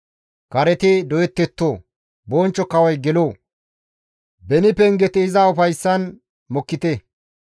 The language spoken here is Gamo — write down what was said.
Kareti doyettetto; Bonchcho Kawoy gelo; beni pengeti iza ufayssan mokkite!